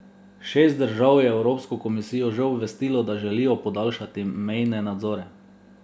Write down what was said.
Šest držav je evropsko komisijo že obvestilo, da želijo podaljšati mejne nadzore.